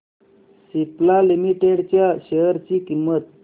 Cipla Limited च्या share ची किंमत